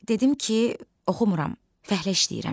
Dedim ki, oxumuram, fəhlə işləyirəm.